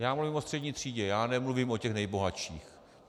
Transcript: Já mluvím o střední třídě, já nemluvím o těch nejbohatších.